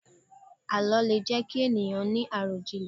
Àlọ́ lè jẹ ki ènìyàn ni arọjinlẹ